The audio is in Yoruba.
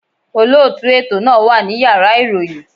Olótùú ètò náà wà ní Yàrá ìròyìn.